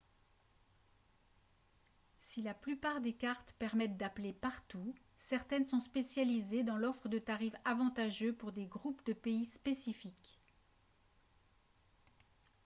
si la plupart des cartes permettent d'appeler partout certaines sont spécialisées dans l'offre de tarifs avantageux pour des groupes de pays spécifiques